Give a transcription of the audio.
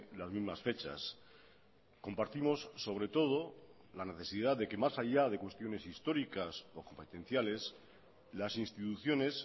las mismas fechas compartimos sobre todo la necesidad de que más allá de cuestiones históricas o competenciales las instituciones